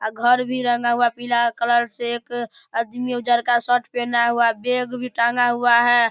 अ घर भी रंगा हुआ पीला कलर से एक आदमी उजर का शर्ट पहना हुआ बेग भी टांगा हुआ है ।